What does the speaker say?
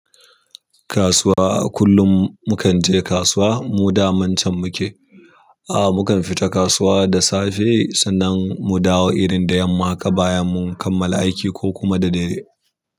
Kasuwa. Kullum mukan je kasuwa, mu damancan muke. Aa, mukan fita kasuwa da safe sannan mu dawo irin da yamma haka bayan mun kammala aiki ko kuma da dare.